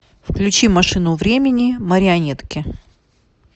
включи машину времени марионетки